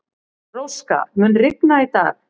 Róska, mun rigna í dag?